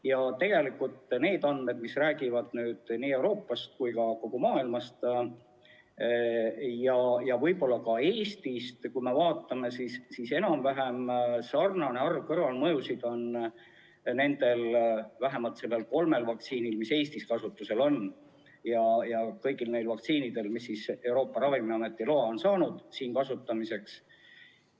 Ja tegelikult need andmed, mis räägivad nii Euroopast kui ka kogu maailmast ja võib-olla ka Eestist, kui me vaatame, siis enam-vähem sarnane arv kõrvalmõjusid on vähemalt nendel kolmel vaktsiinil, mis Eestis kasutusel on, ja kõigil neil vaktsiinidel, mis on Euroopa Ravimiametilt loa saanud siin kasutamiseks.